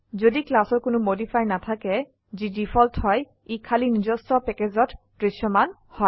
যদি ক্লাসৰ কোনো মডিফায়াৰ নাথাকে যি ডিফল্ট হয় ই খালি নিজস্ব প্যাকেজত দৃশ্যমান হয়